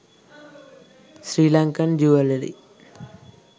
sri lankan jewellery